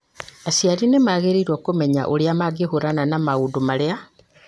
Aciari nĩ magĩrĩirũo kũmenya ũrĩa mangĩhiũrania na maũndũ marĩa